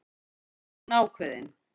spyr hún ákveðin.